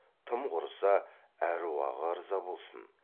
тым құрыса аруағы ырза болсын